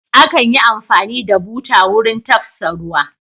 Akan yi amfani da buta wurin tafsa ruwa.